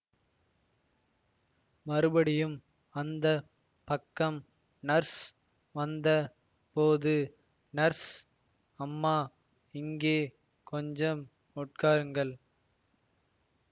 மறுபடியும் அந்த பக்கம் நர்ஸ் வந்த போது நர்ஸு அம்மா இங்கே கொஞ்சம் உட்காருங்கள்